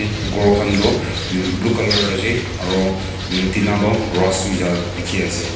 gor khan tu em blue colour ase aro em tina tu rust hoija dekhe ase.